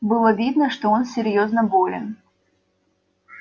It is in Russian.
было видно что он серьёзно болен